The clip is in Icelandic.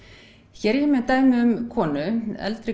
hér er ég með dæmi um konu eldri